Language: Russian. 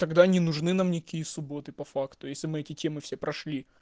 тогда не нужны нам никакие субботы по факту если мы эти темы все прошли